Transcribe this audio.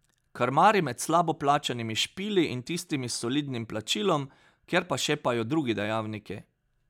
Krmari med slabo plačanimi špili in tistimi s solidnim plačilom, kjer pa šepajo drugi dejavniki.